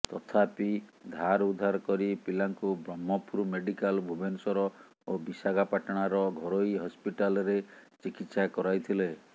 ତଥାପି ଧାର ଉଧାର କରି ପିଲାଙ୍କୁ ବ୍ରହ୍ମପୁର ମେଡିକାଲ ଭୁବନେଶ୍ୱର ଓ ବିଶାଖାପାଟଣାର ଘରୋଇ ହସପିଟାଲରେ ଚିକିତ୍ସା କରାଇଥିଲେ